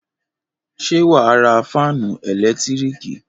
Ṣé wà á ra fáánù ẹ̀lẹ́tíríkì?